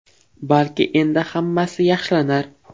Balki endi hammasi yaxshilanar?